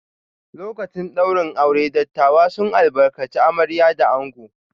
Lokacin ɗaurin aure, dattawa sun albarkaci amarya da ango.